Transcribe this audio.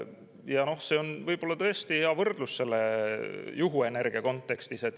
Ja see on võib-olla tõesti hea võrdlus juhuenergia kontekstis.